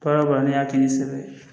Baara o baara n'i y'a kɛ ni sɛbɛn ye